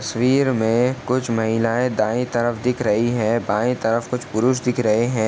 तस्वीर में कुछ महिलाएं दाएं तरफ दिख रही हैं बाएं तरफ कुछ पुरुष दिख रहे हैं।